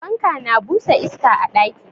Fanka na busa iska a ɗaki.